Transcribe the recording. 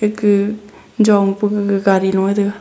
gaga jong pe gaari lung e tai ga.